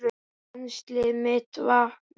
Penslið með vatni.